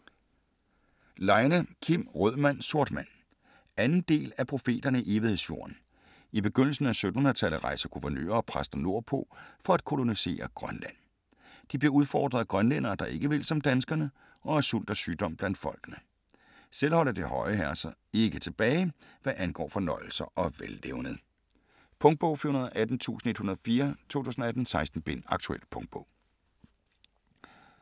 Leine, Kim: Rød mand - sort mand 2. del af Profeterne i Evighedsfjorden. I begyndelsen af 1700-tallet rejser guvernører og præster nordpå for at kolonisere Grønland. De bliver udfordret af grønlændere, der ikke vil som danskerne, og af sult og sygdom blandt folkene. Selv holder de høje herrer sig ikke tilbage, hvad angår fornøjelser og vellevned. Punktbog 418104 2018. 16 bind. Aktuel punktbog